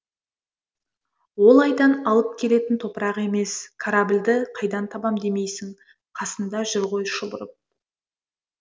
ол айдан алып келетін топырақ емес корабльді қайдан табам демейсің қасында жүр ғой шұбырып